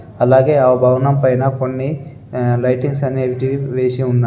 అలాగే ఆ భవనంపైన కొన్ని ఆహ్ లైటింగ్స్ అనేటివి వేసి ఉన్నాయి.